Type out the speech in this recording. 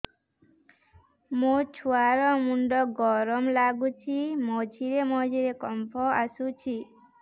ମୋ ଛୁଆ ର ମୁଣ୍ଡ ଗରମ ଲାଗୁଚି ମଝିରେ ମଝିରେ କମ୍ପ ଆସୁଛି